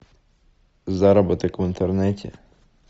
заработок в интернете